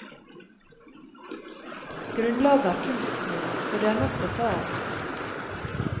Grunnlaget er kunstsnø, så det er nok å ta av.